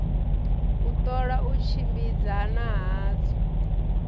u ṱola u tshimbidzana hadzo